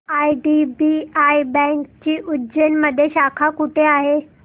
IDBI बँकेची उज्जैन मध्ये शाखा कुठे आहे